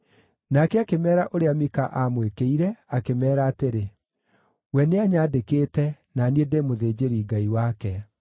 Nake akĩmeera ũrĩa Mika aamwĩkĩire, akĩmeera atĩrĩ, “We nĩanyandĩkĩte na niĩ ndĩ mũthĩnjĩri-Ngai wake.”